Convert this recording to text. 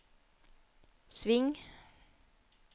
sving